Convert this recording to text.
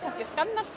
skanna allt